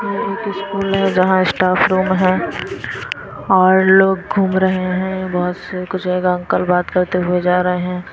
ये एक स्कूल है यहां स्टाफ रूम है और लोग घूम रहे हैं बहुत से कुछ एक अंकल बात करते हुए जा रहे हैं।